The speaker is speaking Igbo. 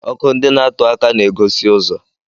Ọkụ ndị na-atuaka na-egosi ụzọ.